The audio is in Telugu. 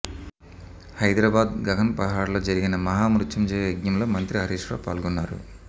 హైదరాబాద్ గగన్ పహాడ్ లో జరిగిన మహా మృత్యుంజయ యజ్ఞంలో మంత్రి హరీష్ రావు పాల్గొన్నారు